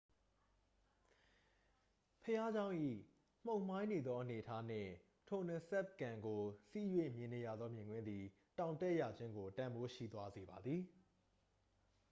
ဘုရားကျောင်း၏ မှုန်မှိုင်းနေသောအနေအထားနှင့် tonle sap ကန်ကို စီး၍မြင်နေရသောမြင်ကွင်းသည် တောင်တက်ရခြင်းကို တန်ဖိုးရှိသွားစေပါသည်